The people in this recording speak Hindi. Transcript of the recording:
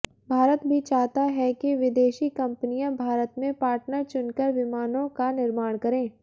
भारत भी चाहता है कि विदेशी कंपनियां भारत में पार्टनर चुनकर विमानों का निर्माण करें